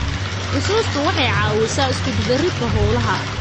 Xusuustu waxay caawisaa iskudubaridka hawlaha.